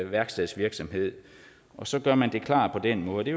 værkstedsvirksomhed og så gør man det klart på den måde det